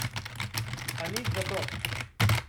A nič zato.